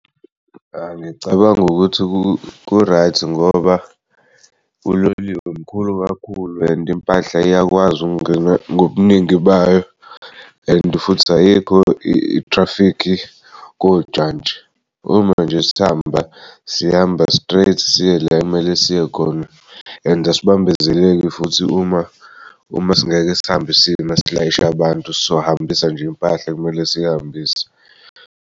Angicabangi ukuthi ku-right ngoba uloliwe mkhulu kakhulu and impahla iyakwazi ukungena ngobuningi bayo and futhi ayikho i-traffic kojantshi, uma nje sihamba sihamba straight siye la ekumele siyekhona and asibambezeleki futhi uma singeke sihamba sima silayishe abantu sizohambisa nje impahla ekumele siyihambise.